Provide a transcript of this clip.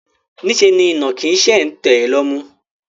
Niṣẹ́ ni ìnàkí ṣe ń tẹ̀ lọ́mú.